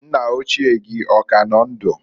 Nna ochie gị ọ ka nọ ndụ?